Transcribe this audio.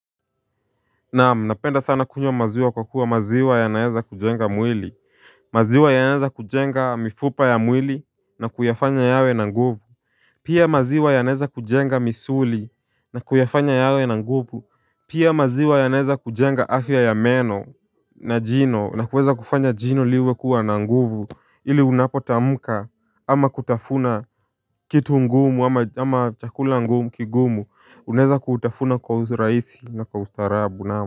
Naam, napenda sana kunywa maziwa kwa kuwa maziwa yanaeza kujenga mwili maziwa yanaeza kujenga mifupa ya mwili na kuyafanya yawe na nguvu Pia maziwa yanaeza kujenga misuli na kuyafanya yawe na nguvu Pia maziwa yanaeza kujenga afya ya meno na jino na kuweza kufanya jino liwe kuwa na nguvu ili unapotamuka ama kutafuna kitu ngumu ama chakula ngumu kigumu unaeza kutafuna kwa uraisi na kwa ustaarabu naam.